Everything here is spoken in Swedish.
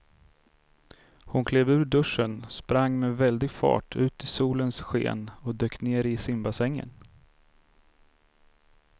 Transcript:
Hon klev ur duschen, sprang med väldig fart ut i solens sken och dök ner i simbassängen.